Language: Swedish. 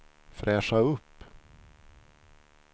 fräscha upp